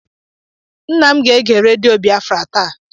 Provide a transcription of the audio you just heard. Nna m ga-ege redio Biafra taa.